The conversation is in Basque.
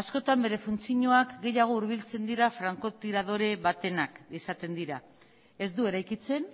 askotan bere funtzioak gehiago hurbiltzen dira franko tiradore batenak izaten dira ez du eraikitzen